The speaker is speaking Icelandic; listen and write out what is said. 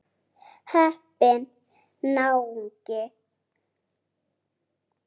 Heppinn náungi.